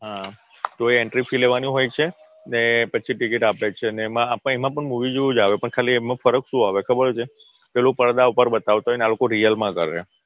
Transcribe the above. હા તો એ Entry Fee લેવાની હોય છે ને પછી Ticket આપે છે એમાં પણ Movie જેવું જ આવે ફરક શું આવે ખબર છે પેલું પડદા ઉપર બતાવતું હોય અને આ લોકો Real માં કરે